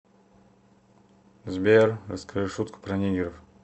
сбер расскажи шутку про нигеров